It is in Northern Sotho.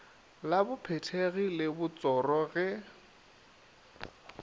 la bophethegi le botsoro ge